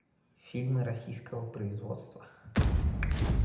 фильмы российского производства